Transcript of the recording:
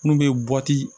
Mun bɛ